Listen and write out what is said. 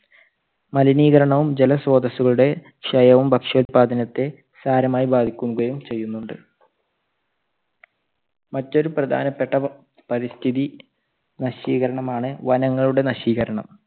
മലിനീകരണവും ജലസ്രോതസുകളുടെ ക്ഷയവും ഭക്ഷ്യോല്പാദനത്തെ സാരമായി ബാധിക്കുകയും ചെയ്യുന്നുണ്ട്. മറ്റൊരു പ്രധാനപ്പെട്ട പരിസ്ഥിതി നശീകരണമാണ് വനങ്ങളുടെ നശീകരണം.